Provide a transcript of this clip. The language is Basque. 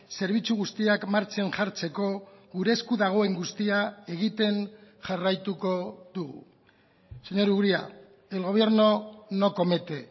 zerbitzu guztiak martxan jartzeko gure esku dagoen guztia egiten jarraituko dugu señor uria el gobierno no comete